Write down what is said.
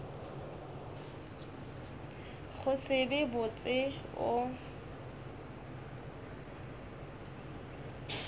go se be botse o